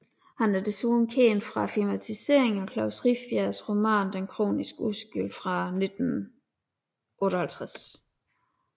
Han er desuden kendt fra filmatiseringen af Klaus Rifbjergs roman Den kroniske uskyld fra 1958